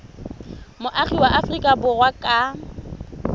moagi wa aforika borwa ka